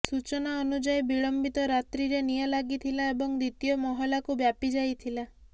ସୂଚନା ଅନୁଯାୟୀ ବିଳମ୍ବିତ ରାତ୍ରିରେ ନିଆଁ ଲାଗିଥିଲା ଏବଂ ଦ୍ୱିତୀୟ ମହଲାକୁ ବ୍ୟାପି ଯାଇଥିଲା